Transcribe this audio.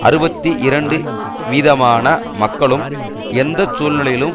அறுபத்தி இரண்டு வீதமான மக்களும் எந்த சூழ்நிலையிலும்